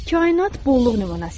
Kainat bolluq nümunəsidir.